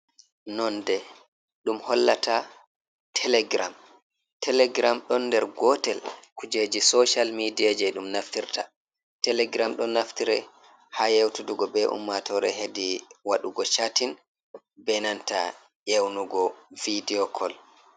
Nonde dum hollata telegram, telegram don der gotel kujeji social media je dum naftirta telegram don naftiri ha yeutudugo be ummatore hedi wadugo chatin be nanta yewnugo vidio kol.